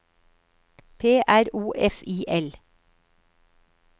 P R O F I L